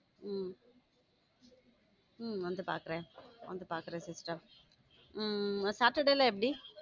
உம் உம் வந்து பாக்குறேன் வந்து பாக்குறேன் sister உம் எப்படி